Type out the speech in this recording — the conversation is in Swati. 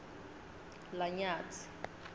lanyatsi